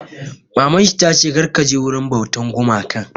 Maman shi ta ce 'Kar ka je wurin bautar gumakan'!